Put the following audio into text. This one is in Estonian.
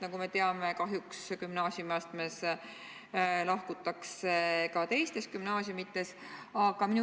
Nagu me teame, kahjuks gümnaasiumiastmes lahkutakse ka teistest gümnaasiumidest.